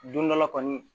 Don dɔ la kɔni